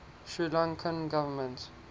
sri lankan government